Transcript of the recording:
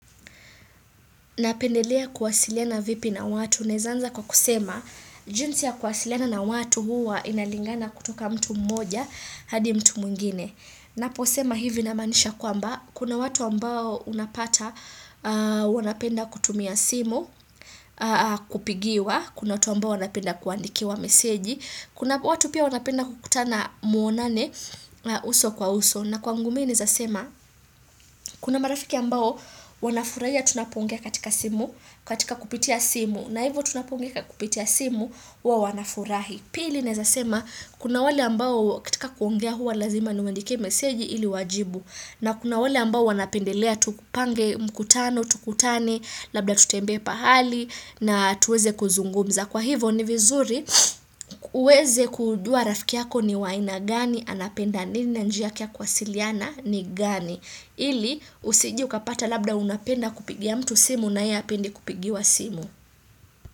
Napendelea kuwasiliana vipi na watu? Naeza anza kwa kusema, jinsi ya kuwasiliana na watu huwa inalingana kutoka mtu mmoja hadi mtu mwingine. Naposema hivi namaanisha kwamba, kuna watu ambao unapata wanapenda kutumia simu, kupigiwa, kuna watu ambao wanapenda kuandikiwa meseji, kuna watu pia wanapenda kukutana muonane uso kwa uso na kwangu mi naezasema kuna marafiki ambao wanafurahia tunapoongea katika simu katika kupitia simu na hivyo tunapongea kupitia simu huwa wanafurahiya. Pili naezasema kuna wale ambao katika kuongea huwa lazima niwandikie meseji ili wajibu na kuna wale ambao wanapendelea tupange mkutano tukutane labda tutembea pahali na tuweze kuzungumza. Kwa hivo ni vizuri uweze kujua rafiki yako ni wa aina gani, anapenda nini na njia yake ya kuwasiliana ni gani. Ili usije ukapata labda unapenda kupigia mtu simu na yeye hapendi kupigiwa simu.